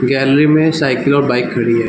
Gallery में cycle और bike खड़ी है।